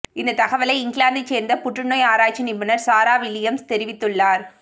இந்த தகவலை இங்கிலாந்தை சேர்ந்த புற்று நோய் ஆராய்ச்சி நிபுணர் சாரா வில்லியம்ஸ் தெரிவித்துள்ளார்